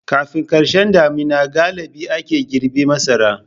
Kafin karshen damina galibi ake girbe masara.